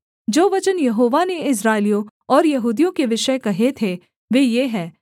जो वचन यहोवा ने इस्राएलियों और यहूदियों के विषय कहे थे वे ये हैं